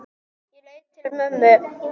Ég leit til mömmu.